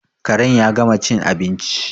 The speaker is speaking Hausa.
Karen ya gama cin abinci